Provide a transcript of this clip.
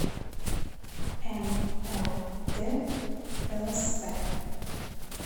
м л д лсп